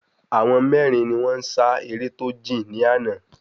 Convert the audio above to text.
Àwọn mérin ni wón n sa eré tó jìn ní àná